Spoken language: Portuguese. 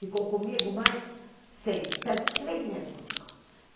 Ficou comigo mais seis, sete, três meses comigo.